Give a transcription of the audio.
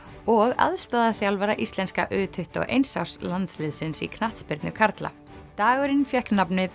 og aðstoðarþjálfara íslenska u tuttugu og eins árs landsliðsins í knattspyrnu karla dagurinn fékk nafnið